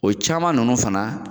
O caman ninnu fana